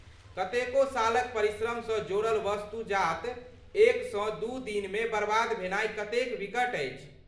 कतेको सालक परिश्रमसँ जोड़ल वस्तु जात एकसँ दू दिनमे बर्बाद भेनाइ कतेक विकट अछि।